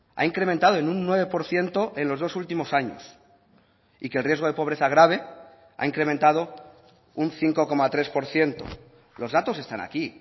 ha incrementado en un nueve por ciento en los dos últimos años y que el riesgo de pobreza grave ha incrementado un cinco coma tres por ciento los datos están aquí